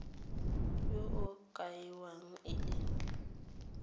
yo o kaiwang e le